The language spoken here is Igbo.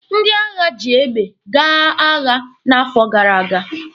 Ndị agha ji egbe gaa agha n'afọ gara aga.